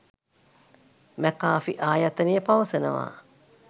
McAfee ආයතනය පවසනවා